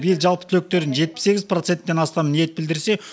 биыл жалпы түлектердің жетпіс сегіз проценттен астамы ниет білдірсе